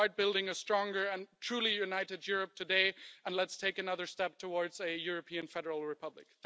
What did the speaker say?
Let's start building a stronger and truly united Europe today, and let's take another step towards a European Federal Republic.